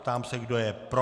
Ptám se, kdo je pro.